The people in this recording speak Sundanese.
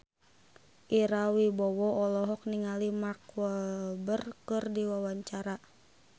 Ira Wibowo olohok ningali Mark Walberg keur diwawancara